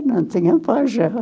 não tinha pai já.